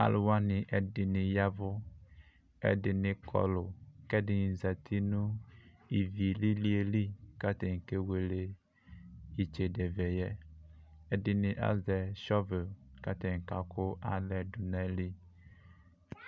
Alʋ wani ɛdini ya ɛvʋ kʋ ɛdini kɔlʋ kʋ ɛdini zati nʋ ivi lilieli kʋ atani kewele itsedevɛ yɛ ɛdini azɛ shɔvel kʋ atani kakʋ alae dʋnʋ ayili